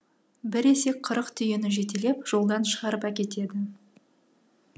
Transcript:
бір есек қырық түйені жетелеп жолдан шығарып әкетеді